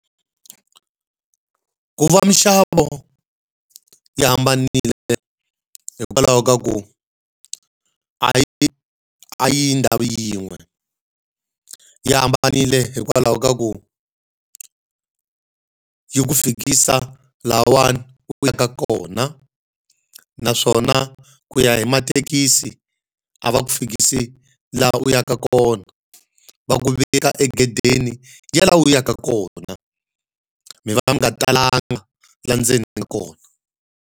Ku va minxavo yi hambanile hikwalaho ka ku a yi a yi yi ndhawu yin'we. Yi hambanile hikwalaho ka ku yi ku fikisa lahawani u ya ka kona, naswona ku ya hi mathekisi a va ku fikisi laha u yaka kona. Va ku veka egedeni ya laha u yaka kona. Mi va mi nga talanga laha ndzeni ka kona